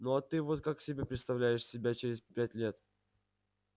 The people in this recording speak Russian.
ну а ты вот как себе представляешь себя через пять лет